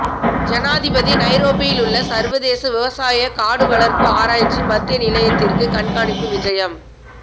ஜனாதிபதி நைரோபியிலுள்ள சர்வதேச விவசாய காடு வளர்ப்பு ஆராய்ச்சி மத்திய நிலையத்திற்கு கண்காணிப்பு விஜயம்